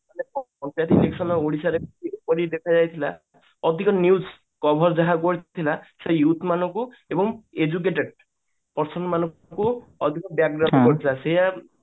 panchayat election ଓଡିଶାରେ କରଯାଇଥିଲା ଅଧିକ news cover ଯାହା କରିଥିଲ ସେ youth ମାନଙ୍କୁ ଏବଂ educated person ମାନଙ୍କୁ ଅଧିକ